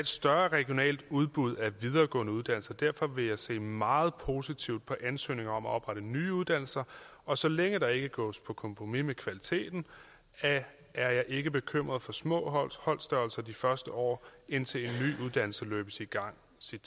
større regionalt udbud af videregående uddannelser der vil jeg se meget positivt på ansøgninger om at oprette nye uddannelser og så længe der ikke gås på kompromis med kvaliteten er jeg ikke bekymret for små holdstørrelser de første år indtil en ny uddannelse løbes i gang